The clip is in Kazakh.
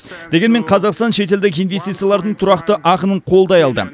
дегенмен қазақстан шетелдік инвестициялардың тұрақты ағынын қолдай алды